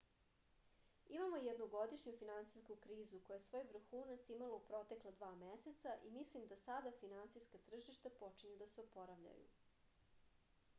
imamo jednogodišnju finansijsku krizu koja je svoj vrhunac imala u protekla dva meseca i mislim da sada finansijska tržišta počinju da se oporavljaju